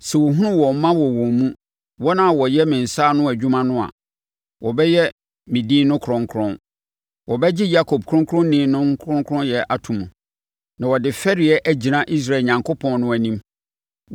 Sɛ wɔhunu wɔn mma wɔ wɔn mu, wɔn a wɔyɛ me nsa ano adwuma no a, wɔbɛyɛ me din no kronkron; wɔbɛgye Yakob ɔkronkronni no kronkronyɛ ato mu, na wɔde fɛreɛ agyina Israel Onyankopɔn no anim.